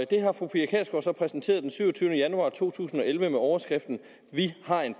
det har fru pia kjærsgaard så præsenteret den syvogtyvende januar to tusind og elleve under overskriften vi har en